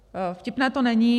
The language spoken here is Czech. Vtipné to není.